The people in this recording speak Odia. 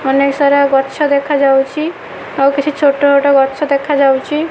ଅନେକ ସାରା ଗଛ ଦେଖାଯାଉଛି ଆଉ କିଛି ଛୋଟ ଛୋଟ ଗଛ ଦେଖାଯାଉଛି।